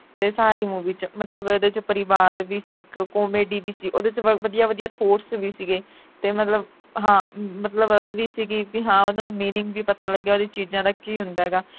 ਤੇ ਸਾਰੀ movie ਵਿਚ ਮਤਲਬ ਇਹਦੇ ਵਿਚ ਪਰਿਵਾਰ ਵੀ ਸੀ ਇਕ, comedy ਵੀ ਸੀ ਉਹਦੇ ਵਿਚ ਵਧੀਆ ਵਧੀਆ thought ਵੀ ਸੀਗੇ ਤੇ ਮਤਲਬ ਹਾਂ ਮਤਲਬ ਇਹ ਵੀ ਸੀ ਕਿ ਬਈ ਹਾਂ ਉਨ੍ਹਾਂ ਨੂੰ meaning ਵੀ ਪਤਾ ਲੱਗਿਆ ਉਨ੍ਹਾਂ ਚੀਜਾਂ ਦਾ ਕੀ ਹੁੰਦਾ ਹੈਗਾ